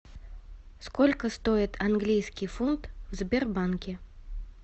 сколько стоит английский фунт в сбербанке